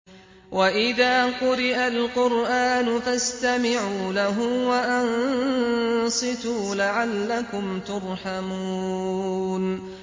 وَإِذَا قُرِئَ الْقُرْآنُ فَاسْتَمِعُوا لَهُ وَأَنصِتُوا لَعَلَّكُمْ تُرْحَمُونَ